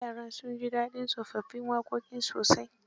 Yaran sun ji dadin tsofaffin waƙoƙin sosai..